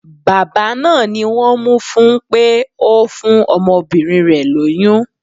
Bàbá náà ni wón mú fún pé ó fún ọmọbìnrin rẹ̀ lóyún.